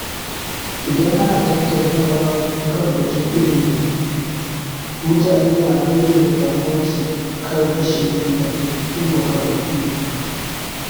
Idan ana tattaunawa kan batun ilimi, mutane na bayyana damuwarsu kan rashin ingantattun makarantu.